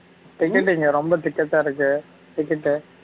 ticket இங்க ரொம்ப ticket ஆ இருக்கு ticket உ